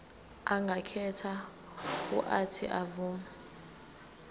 angakhetha uuthi avume